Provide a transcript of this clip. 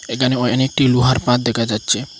এখানে অনেকটি লোহার পাত দেখা যাচ্ছে।